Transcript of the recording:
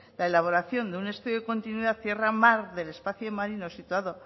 la elaboración de un estudio de continuidad tierra mar del espacio marino situado